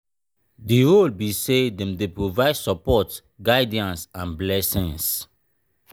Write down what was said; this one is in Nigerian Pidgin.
di role be say dem dey provide support guidance and blessings.